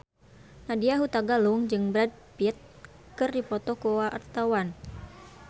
Nadya Hutagalung jeung Brad Pitt keur dipoto ku wartawan